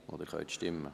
Sie können abstimmen.